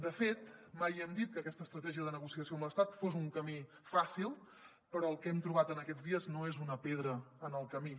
de fet mai no hem dit que aquesta estratègia de negociació amb l’estat fos un camí fàcil però el que hem trobat aquests dies no és una pedra en el camí